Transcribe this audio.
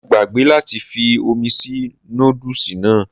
Mo gbàgbé láti fi omi sí nódùsì náà